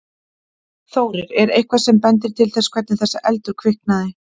Þórir: Er eitthvað sem bendir til þess hvernig þessi eldur kviknaði?